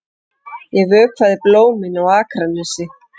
Ég vökvaði blómin á Akranesi.